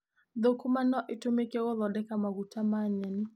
Thũkũma no itũmĩke gũthondeka maguta ma nyeni.